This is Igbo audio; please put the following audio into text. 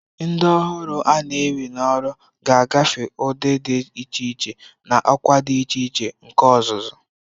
Ndị ọhụrụ a na-ewe n'ọrụ ga-agafe ụdị dị iche iche na ọkwa dị iche iche nke ọzụzụ.